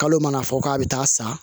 Kalo mana fɔ k'a bɛ taa san